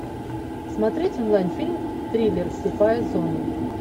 смотреть онлайн фильм триллер слепая зона